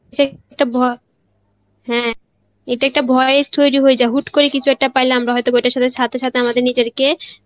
সে~ ইটা ভ~ হ্যাঁ ইটা একটা বয়েস তৈরী হয়ে যায় হুট করে কিছু একটা পাইলে হয়ত ওটা সাথে সাথে আমাদের নিজেরকার